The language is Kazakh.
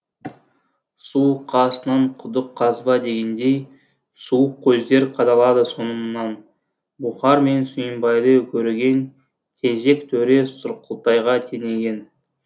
су қасынан құдық қазба дегендей суық көздер қадалады соңымнан бұхар менен сүйінбайды көреген тезек төре сұрқылтайға теңеген